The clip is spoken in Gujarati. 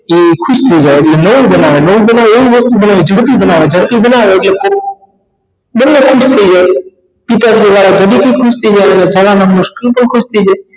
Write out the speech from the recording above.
તે ખુશ થઈ જાય ઍટલે નવું બનાવે નવું બનાવે એવી વસ્તુ બનાવે ઝડપી બનાવો ઝડપી બનાવા ઍટલે બંને ખુશ થઈ જાય જલ્દી થી ખુશ થઈ અને ખુશ થઇ જાય